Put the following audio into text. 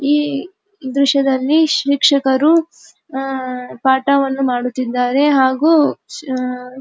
ಈ ದೃಶ್ಯದಲ್ಲಿ ಶಿಕ್ಷಕರು ಅಹ್ ಪಾಠವನ್ನು ಮಾಡುತ್ತಿದ್ದಾರೆ ಹಾಗು ಷ --